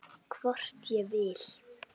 Hvort ég vil!